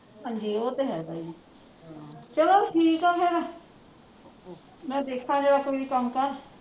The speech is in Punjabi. ਹਾਂਜੀ ਉਹ ਤੇ ਹੈ ਤਾਈ ਜੀ ਚਲੋ ਠੀਕ ਆ ਫੇਰ ਮੈਂ ਦੇਖਾਂ ਜਰਾ ਕੋਈ ਕੰਮ ਕਾਰ